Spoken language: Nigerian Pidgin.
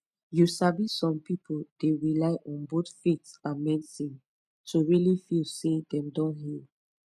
you sabi some people dey rely on both faith and medicine to really feel say dem don heal